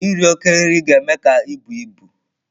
Iri oke nri ga-eme ka ibu ibu.